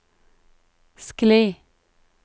skli